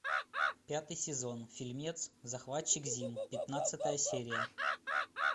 пятый сезон фильмец захватчик зим пятнадцатая серия